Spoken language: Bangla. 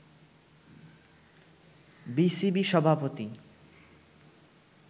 বিসিবি সভাপতি